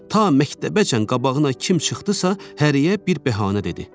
Ta məktəbəcən qabağına kim çıxdısa, həriyə bir bəhanə dedi.